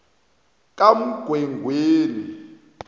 kamgwengweni